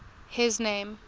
his name